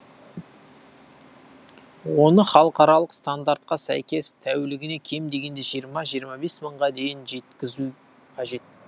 оны халықаралық стандартқа сәйкес тәулігіне кем дегенде жиырма жиырма бес мыңға дейін жеткізу қажет